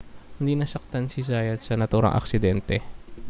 hindi nasaktan si zayat sa naturang aksidente